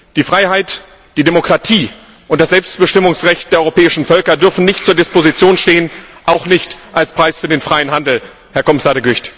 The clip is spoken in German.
Die Freiheit, die Demokratie und das Selbstbestimmungsrecht der europäischen Völker dürfen nicht zur Disposition stehen auch nicht als Preis für den freien Handel, Herr Kommissar De Gucht.